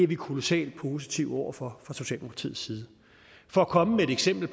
vi kolossalt positive over for fra socialdemokratiets side for at komme med et eksempel